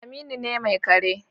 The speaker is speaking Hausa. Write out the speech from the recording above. Aminu ne mai kare